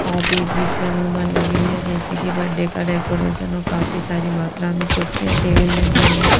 और बीच-बीच में झूमर लगी हुई है जैसे कि बर्थडे का डेकोरेशन और काफी सारी मात्रा में कुर्सियाँ टेबल लगी हुई हैं।